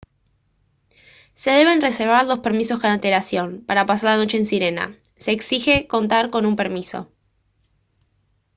se deben reservar los permisos con antelación para pasar la noche en sirena se exige contar con un permiso